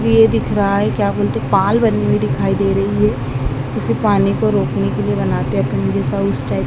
पेड़ दिख रहा है क्या बोलते पाल बनी हुई दिखाई दे रही है। उसे पानी को रोकने के लिए बनाते अपने जैसा उसे टाइप --